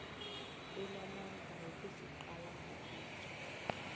enamandla wokusiqala ngobutjha